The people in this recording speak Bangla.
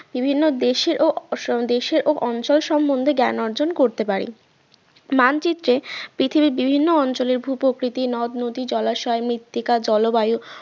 বিভিন্ন দেশের ও দেশের ও অঞ্চল সম্বন্ধে জ্ঞান অর্জন করতে পারি মানচিত্রে পৃথিবীর বিভিন্ন অঞ্চলের ভূপ্রকৃতি নদ-নদী জলাশয়ের মৃত্তিকা জলবায়ু